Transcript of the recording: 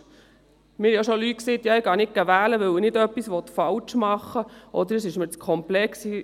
Leute sagten mir auch schon, sie seien nicht wählen gegangen, weil sie nichts falsch machen möchten oder weil es für sie zu komplex sei.